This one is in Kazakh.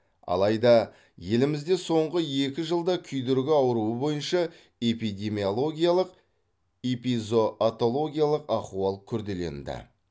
алайда елімізде соңғы екі жылда күйдіргі ауруы бойынша эпидемиологиялық эпизоотологиялық ахуал күрделенді